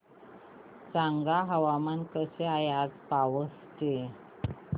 सांगा हवामान कसे आहे आज पावस चे